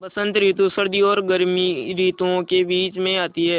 बसंत रितु सर्दी और गर्मी रितुवो के बीच मे आती हैँ